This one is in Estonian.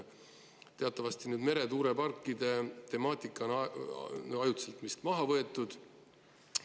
Teatavasti meretuuleparkide temaatika on ajutiselt vist maha võetud.